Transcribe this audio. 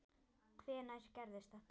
Hvenær gerðist þetta?